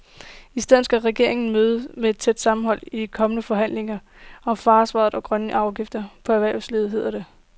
I stedet skal regeringen møde et tæt sammenhold i de kommende forhandlinger om forsvaret og grønne afgifter på erhvervslivet, hedder det.